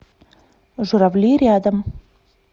журавли рядом